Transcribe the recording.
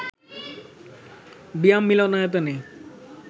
বিয়াম মিলনায়তনে